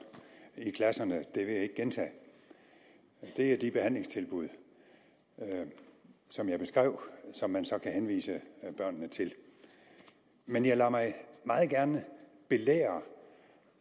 i klasserne det vil jeg ikke gentage det er de behandlingstilbud som jeg beskrev som man så kan henvise børnene til men jeg lader mig meget gerne belære